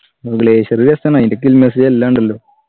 ഉം glacier just ആണ് അയിന്റെ എല്ലാം ഉണ്ടല്ലോ